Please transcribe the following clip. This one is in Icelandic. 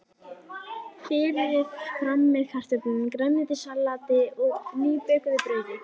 Berið fram með kartöflum, grænmetissalati og nýbökuðu brauði.